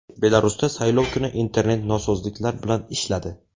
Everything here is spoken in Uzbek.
Belarusda saylov kuni internet nosozliklar bilan ishladi.